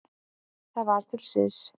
Það var til siðs.